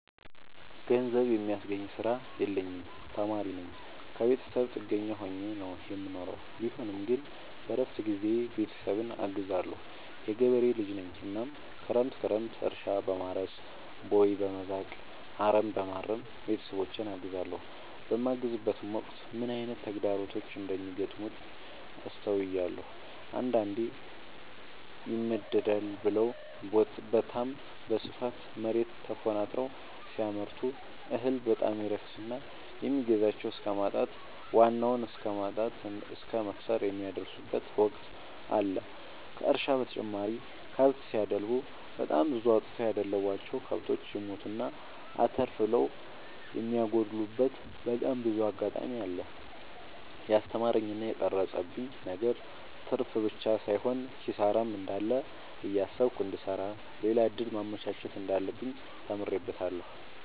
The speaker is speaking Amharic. ገንዘብ የሚያስገኝ ስራ የለኝም ተማሪነኝ ከብተሰብ ጥገኛ ሆኜ ነው የምኖረው ቢሆንም ግን በረፍት ጊዜዬ ቤተሰብን አግዛለሁ። የገበሬ ልጅነኝ እናም ክረምት ክረምት እርሻ፣ በማረስ፣ ቦይ፣ በመዛቅ፣ አረምበማረም ቤተሰቦቼን አግዛለሁ። በማግዝበትም ወቅት ምን አይነት ተግዳሮቶች እንደሚገጥሙት አስተውያለሁ። አንዳንዴ ይመደዳል ብለው በታም በስፋት መሬት ተኮናትረው ሲያመርቱ እህል በጣም ይረክስና የሚገዛቸው እስከማጣት ዋናውን እስከማት እስከ መክሰር የሚደርሱበት ወቅት አለ ከእርሻ በተጨማሪ ከብት ሲደልቡ በጣም ብዙ አውጥተው ያደለቡቸው። ከብቶች ይሞቱና አተርፍ ብለው የሚያጎሉበቴ በጣም ብዙ አጋጣሚ አለ። የስተማረኝ እና የቀረፀብኝ ነገር ትርፍብቻ ሳይሆን ኪሳራም እንዳለ እያሰብኩ እንድሰራ ሌላ እድል ማመቻቸት እንዳለብኝ ተምሬበታለሁ።